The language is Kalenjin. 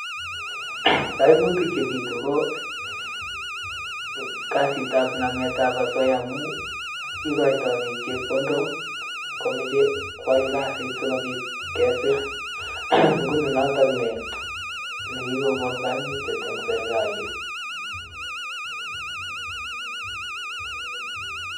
kaimutik chepitu koo kasit ap namet ap asoya amuu ikaitai pik chepkondok ko mache kwal kaasit sikopit kesir nguno nitok ne kikonkaimutiet eng serikalit